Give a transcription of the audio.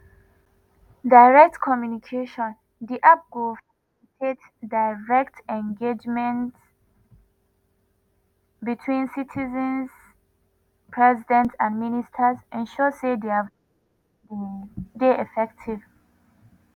direct communication:di app go facilitates direct engagement between citizens president and ministers ensure say dia voices dey effective.